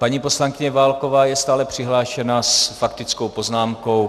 Paní poslankyně Válková je stále přihlášená s faktickou poznámkou.